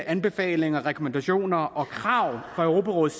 anbefalinger og rekommandationer og krav fra europarådets